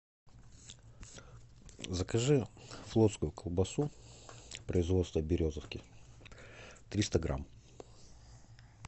закажи флотскую колбасу производства березовки триста грамм